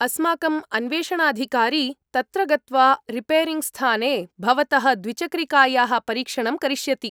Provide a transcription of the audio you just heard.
अस्माकम् अन्वेषणाधिकारी तत्र गत्वा रिपेरिङ्ग्स्थाने भवतः द्विचक्रिकायाः परीक्षणं करिष्यति।